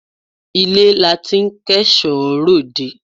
Ilé la ti ń kẹ́ṣọ̀ọ́ ròde.